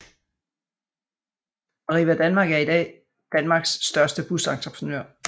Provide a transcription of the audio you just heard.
Arriva Danmark er i dag Danmarks største busentreprenør